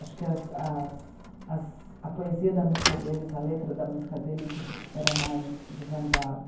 Acho que as, as, as poesia da música deles, a letra da música deles era mais de vanguarda.